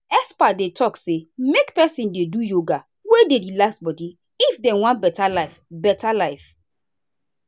experts dey talk say make person dey do yoga wey dey relax body if dem wan better life. better life.